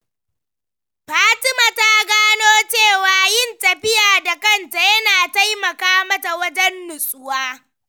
Fatima ta gano cewa yin tafiya da kanta yana taimaka mata wajen nutsuwa.